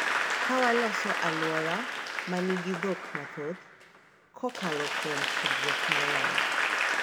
Ka waloso alwora ma nigi dhok mathoth kokalo kuom tudruok maler,